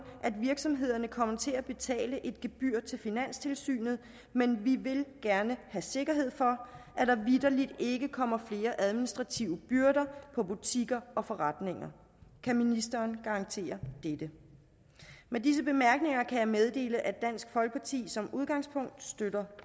at virksomhederne kommer til at betale et gebyr til finanstilsynet men vi vil gerne have sikkerhed for at der vittelig ikke kommer flere administrative byrder for butikker og forretninger kan ministeren garantere dette med disse bemærkninger kan jeg meddele at dansk folkeparti som udgangspunkt støtter